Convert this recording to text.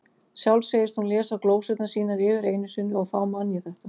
Sjálf segist hún lesa glósurnar sínar yfir einu sinni, og þá man ég þetta